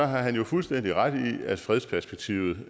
han jo fuldstændig ret i at fredsperspektivet